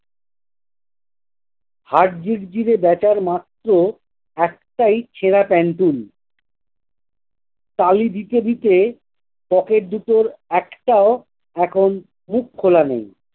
heartbeat দিবে বেচার মাত্র একটাই সেরা টেনতুন। তালি দিতে দিতে pocket দুটোর একটাও এখন মুখ খোলা নেই